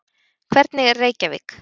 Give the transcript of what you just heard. Hvernig er Reykjavík?